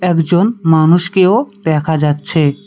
একজন মানুষকেও দেখা যাচ্ছে।